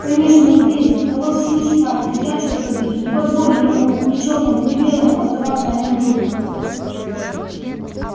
конечно он бледен но вовсе не шваль и я чёрт побери не позволю никому ни чёрному ни белому отзываться о нем дурно